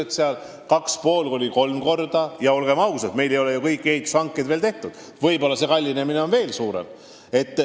Ehitus võib paraku minna 2,5–3 korda kallimaks ja, olgem ausad, võib-olla see kallinemine on veelgi suurem – kõik ehituse hankelepingud ei ole veel sõlmitud.